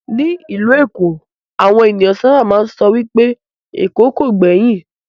Ní ìlú èkó, àwọn ènìyàn sábà máa ń sọ wipé "Èkó kìí gbẹ̀yìn",